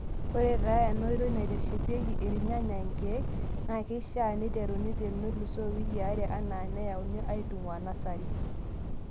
Ore taa ena oitoi naiteshepiki irnyanya nkeek, naa keishaa neiteruni tenelusoo iwikii are anaa nayauni aitung'uaa nasari.